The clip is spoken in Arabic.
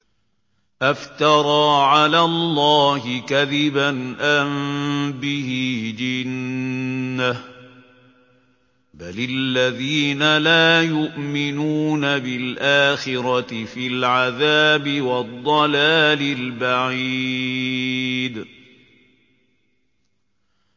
أَفْتَرَىٰ عَلَى اللَّهِ كَذِبًا أَم بِهِ جِنَّةٌ ۗ بَلِ الَّذِينَ لَا يُؤْمِنُونَ بِالْآخِرَةِ فِي الْعَذَابِ وَالضَّلَالِ الْبَعِيدِ